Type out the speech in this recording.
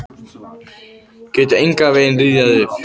Get engan veginn rifjað það upp.